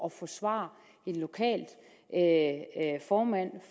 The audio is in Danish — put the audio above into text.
at forsvare en lokal formand